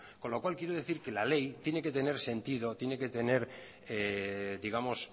con lo cual quiere decir que la ley tiene que tener sentido tiene que tener digamos